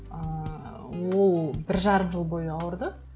ыыы ол бір жарым жыл бойы ауырды